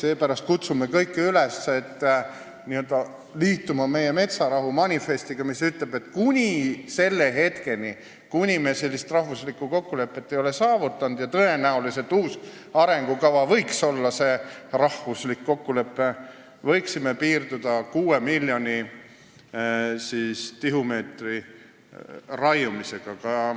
Seepärast kutsume kõiki üles liituma meie metsarahu manifestiga, mis ütleb, et kuni selle hetkeni, kuni me sellist rahvuslikku kokkulepet ei ole saavutanud – tõenäoliselt võiks uus arengukava olla see rahvuslik kokkulepe –, võiksime piirduda 6 miljoni tihumeetri raiumisega.